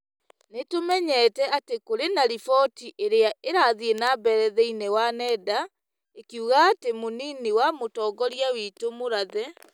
Nĩ tũmenyete atĩ kũrĩ na riboti iria irathiĩ na mbere thĩinĩ wa nenda ĩkiugaga atĩ mũnini wa mũtongoria witũ, Mũrathe.